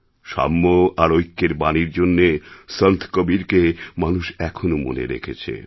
সাম্য আর ঐক্যের বাণীর জন্যে সন্ত কবীরকে মানুষ এখনো মনে রেখেছে